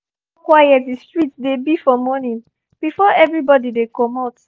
i um like how quiet the street dey be for morning before everybody um dey commot